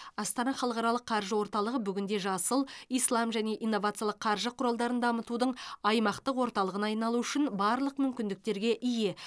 астана халықаралық қаржы орталығы бүгінде жасыл ислам және инновациялық қаржы құралдарын дамытудың аймақтық орталығына айналуы үшін барлық мүмкіндіктерге ие